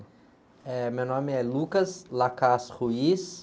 Eh, meu nome é.